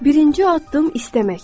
Birinci addım istəməkdir.